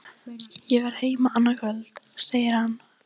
Ég verð heima annað kvöld, segir hann.